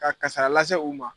Ka kasaara lase u ma.